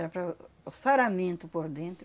Era para o o saramento por dentro.